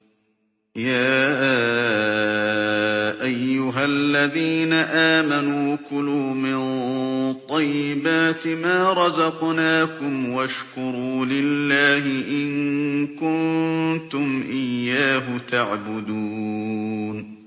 يَا أَيُّهَا الَّذِينَ آمَنُوا كُلُوا مِن طَيِّبَاتِ مَا رَزَقْنَاكُمْ وَاشْكُرُوا لِلَّهِ إِن كُنتُمْ إِيَّاهُ تَعْبُدُونَ